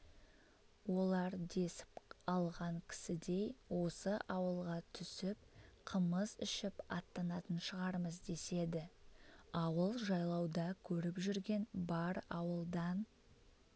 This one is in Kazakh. олар десіп алған кісідей осы ауылға түсіп қымыз ішіп аттанатын шығармыз деседі ауыл жайлауда көріп жүрген бар ауылдан